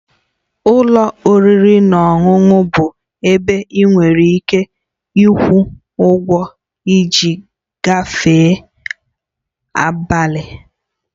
Ụlọ oriri na ọṅụṅụ bụ ebe ị nwere ike ịkwụ ụgwọ iji gafee abalị